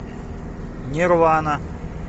нирвана